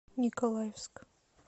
николаевск